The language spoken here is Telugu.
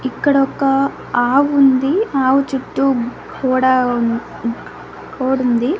ఇక్కడొక ఆవుంది ఆవు చుట్టూ కూడా ఉ కొడుంది.